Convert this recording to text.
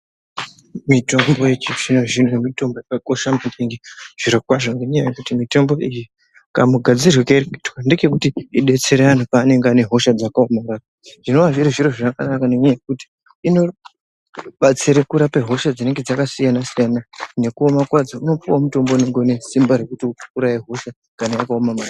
Mitombo yechizvino-zvino , mitombo yakakosha maningi zvirokwazvo ngenyaya yekuti mitombo iyi kamugadzirirwe kairikuitwa ndekekuti idetsere anhu paanenge ane hosha dzakaomarara. Zvinova zviri zviro zvikanaka ngenyaya yekuti inobatsira kurapa hosha dzinenge dzakasiyana-siyana, nekuoma kwadzo. Unopuwe mutombo unonga une simba rekuuraya hosha kana yakaoma maningi.